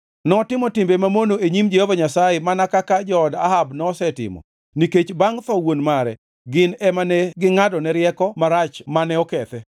Notimo timbe mamono e nyim Jehova Nyasaye mana kaka jood Ahab nosetimo nikech bangʼ tho wuon mare gin ema ne gingʼadone rieko marach mane okethe.